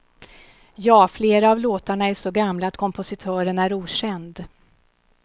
Ja, flera av låtarna är så gamla att kompositören är okänd.